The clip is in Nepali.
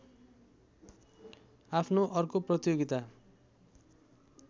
आफ्नो अर्को प्रतियोगिता